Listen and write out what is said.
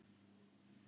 Lét Lenu um sitt.